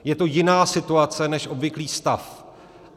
Je to jiná situace než obvyklý stav.